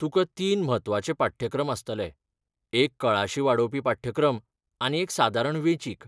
तुका तीन म्हत्वाचे पाठ्यक्रम आसतले, एक कळाशी वाडोवपी पाठ्यक्रम, आनी एक सादारण वेंचीक.